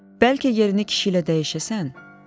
Bəlkə yerini kişi ilə dəyişəsən?